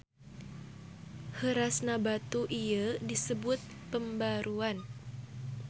Heurasna batu ieu disebut pembaruan.